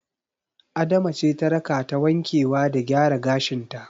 Adama ce ta rakata wankewa da gyara gashin ta.